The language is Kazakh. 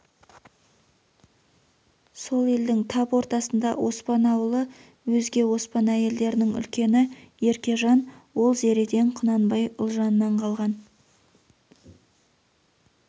сол елдің тап ортасында оспан ауылы өзге оспан әйелдерінің үлкені еркежан ол зереден құнанбай ұлжаннан қалған